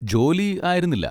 ജോലി ആയിരുന്നില്ല.